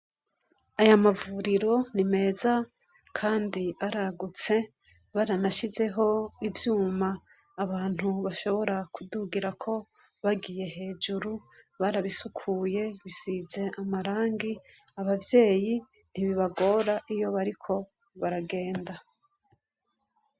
Ayamavuriro ni meza kand' aragutse, baranashizeh' ivyum' abantu bashobora kudugirako bagiye hejuru, barabisukuye bisiz' amarangi, abavyeyi ntibibagor' iyo bariko baragenda.